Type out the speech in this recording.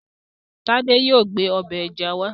Tádé yóò gbé ọbẹ̀ ẹja wá